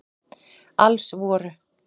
Alls voru